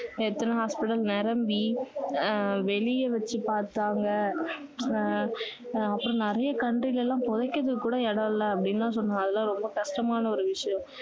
எத்தனை hospitals நிரம்பி அஹ் வெளிய வைச்சு பார்த்தாங்க ஆஹ் அஹ் அப்பறம் நிறைய country ல எல்லாம் புதைக்கிறதுக்கு கூட இடம் இல்ல அப்படி எல்லாம் சொன்னாங்க அதெல்லாம் ரொம்ப கஷ்டமான ஒரு விஷயம்